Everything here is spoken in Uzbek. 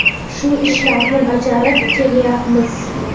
Shu ishlarni bajarib kelyapmiz.